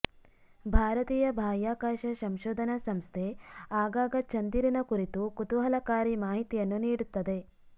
ಭಾರತೀಯ ಬಾಹ್ಯಾಕಾಶ ಸಂಶೋಧನಾ ಸಂಸ್ಥೆ ಆಗಾಗ ಚಂದಿರನ ಕುರಿತು ಕುತೂಹಲಕಾರಿ ಮಾಹಿತಿಯನ್ನು ನೀಡುತ್ತದೆ